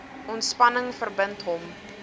ontspanning verbind hom